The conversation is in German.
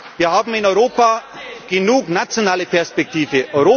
Wir haben in Europa genug nationale Perspektive.